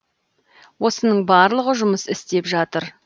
осының барлығы жұмыс істеп жатыр